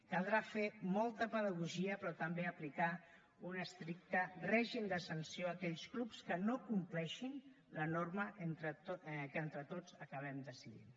caldrà fer molta pedagogia però també aplicar un estricte règim de sanció a aquells clubs que no compleixin la norma que entre tots acabem decidint